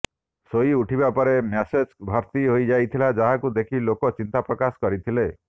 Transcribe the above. ଶୋଇ ଉଠିବା ପରେ ମ୍ୟାସେଜ ଭର୍ତି ହୋଇଯାଇଥିଲା ଯାହାକୁ ଦେଖି ଲୋକେ ଚିନ୍ତା ପ୍ରକାଶ କରିଥିଲେ